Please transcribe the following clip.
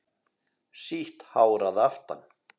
Sítt hár að aftan.